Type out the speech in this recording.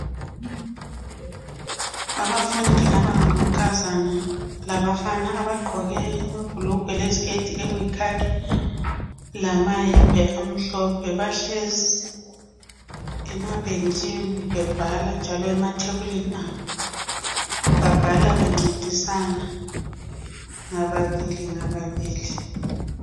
Abafundi abangamankazana labafana abagqoke amabhulugwe leziketi okuyikhakhi lamayembe amhlophe bahlezi emabhentshini bebhala njalo emathebulini abo, babhala bencedisana ngababili ngababili.